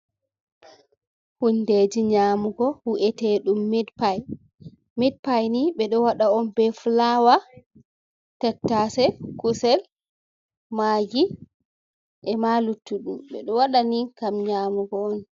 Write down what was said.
Hundeji nyaamugo wu’eteɗum mit payp. Mit pay ni ɓe ɗo waɗa on be fulawa, tattase, kusel, magi, e ma luttuɗum, ɓe ɗo waɗani kam nyaamugo on.